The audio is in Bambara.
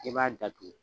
I b'a datugu